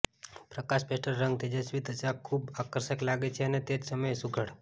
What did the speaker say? પ્રકાશ pastel રંગમાં તેજસ્વી ત્વચા ખૂબ આકર્ષક લાગે છે અને તે જ સમયે સુઘડ